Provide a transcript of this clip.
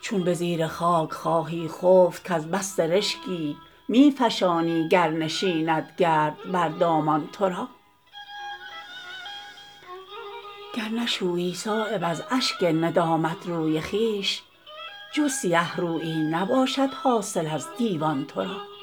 چون به زیر خاک خواهی خفت کز بس سرکشی می فشانی گر نشیند گرد بر دامان تو را گر نشویی صایب از اشک ندامت روی خویش جز سیه رویی نباشد حاصل از دیوان تو را